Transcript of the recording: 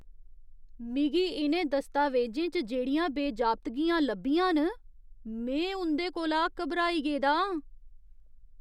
मिगी इ'नें दस्तावेजें च जेह्ड़ियां अनियमततां लब्भियां न में उं'दे कोला घबराई गेदा आं।